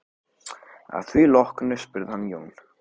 Að því loknu spurði hann Jón